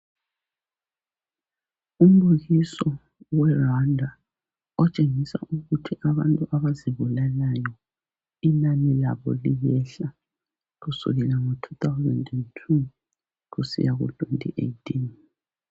Umbukiso we Rwanda otshengisa ukuthi abantu abazibulalayo inani labo liyehla kusukela ngo 2002 kusiya ku 2018.